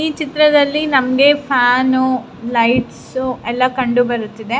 ಈ ಚಿತ್ರದ್ಲಲಿ ನಮಗೆ ಫ್ಯಾನ್ ಲೈಟ್ಸ್ ಎಲ್ಲ ಕಂಡು ಬರುತ್ತಿದೆ.